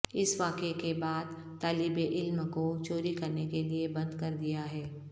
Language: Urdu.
اس واقعے کے بعد طالب علم کو چوری کرنے کے لئے بند کر دیا ہے